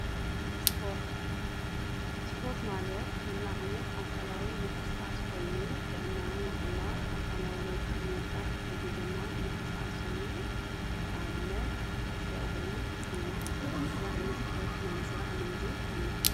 ስፖርት ማለት ኲሉ ዓይነት ኣካላዊ ምንቕስቓስ ኮይኑ ጥዕናና ንምሕላው ኣካላዊ ለውጢ ንምምፃእ ዝሕግዘና ምንቕስቓስ እዩ፡፡ ንኣብነት ኩዑሶ ዕግሪ፣ ጉያ ታይ ዓይነት ስፖርት ናይ ምስራሕ ልምዲ ኣለኹም?